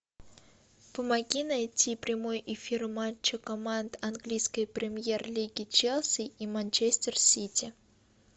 помоги найти прямой эфир матча команд английской премьер лиги челси и манчестер сити